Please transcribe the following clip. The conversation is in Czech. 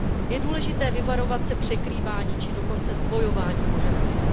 Je důležité vyvarovat se překrývání či dokonce zdvojování požadavků.